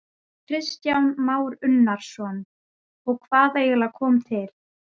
Kristján Már Unnarsson: Og hvað eiginlega kom til?